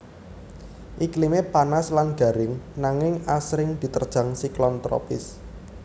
Iklimé panas lan garing nanging asring diterjang siklon tropis